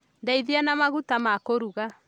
Ndeithia na maguta ma kũruga